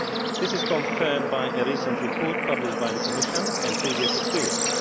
This is confirmed by a recent report published by the Commission, as well as by previous experience.